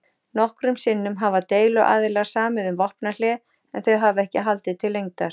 Nokkrum sinnum hafa deiluaðilar samið um vopnahlé en þau hafa ekki haldið til lengdar.